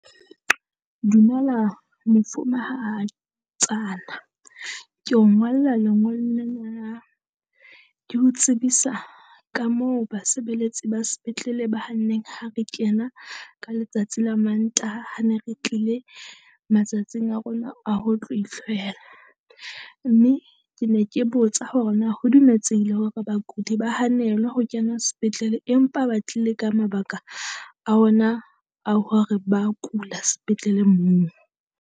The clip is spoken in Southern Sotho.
Dumela mofumahatsana, ke o ngolla lengolo lena la ke ho tsebisa ka moo basebeletsi ba spetlele ba hanneng ha re kena ka letsatsi la Mantaha, ha ne re tlile matsatsing a rona a ho tlo ihlwela. Mme ke ne ke botsa hore na ho dumeletsehile hore bakudi ba hanelwe ho kena sepetlele empa ba tlile ka mabaka a ona a hore ba kula sepetleleng moo.